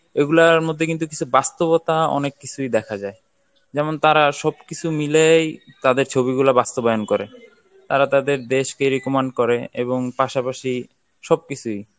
এগুলার মধ্যে কিন্তু বাস্তবতা অনেক কিছুই দেখা যায়. যেমন তারা সব কিছু মিলেই তাদের ছবি গুলা বাস্তবায়ন করে তার তাদের দেশ কে recommend করে এবং পাশাপাশি সব কিছুই